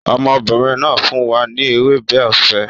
Ọmọbìnrin náà fún wa ní ewébẹ̀ ọ̀fẹ́